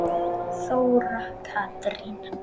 Þóra Katrín.